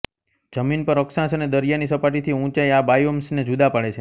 જમીન પર અક્ષાંશ અને દરિયાની સપાટીથી ઊંચાઈ આ બાયોમ્સને જુદા પાડે છે